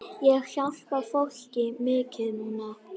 Ég hjálpa fólki mikið núna.